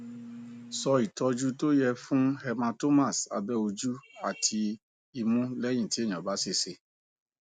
so ìtọjú tó yẹ fún hematomas abe ojú àti imu leyin ti eyan ba sese